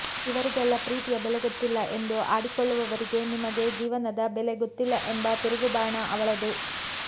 ಇವರಿಗೆಲ್ಲ ಪ್ರೀತಿಯ ಬೆಲೆ ಗೊತ್ತಿಲ್ಲ ಎಂದು ಆಡಿಕೊಳ್ಳುವವರಿಗೆ ನಿಮಗೆ ಜೀವನದ ಬೆಲೆ ಗೊತ್ತಿಲ್ಲ ಎಂಬ ತಿರುಗುಬಾಣ ಅವಳದು